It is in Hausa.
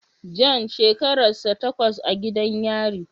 John shekararsa tawas a gidan yari